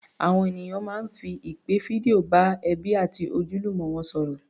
Àwọn ènìyàn máa ń fi ìpè fídíò bá ẹbí àti ojúlùmọ̀ wọn sọ̀rọ̀